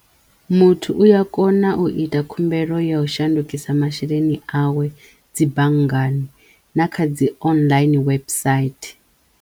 Muthu u ya kona u ita khumbelo ya u shandukisa masheleni awe dzi banngani na kha dzi online website.